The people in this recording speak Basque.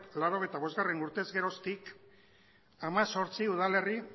laurogeita bostgarrena urtez geroztik hemezortzi udalerri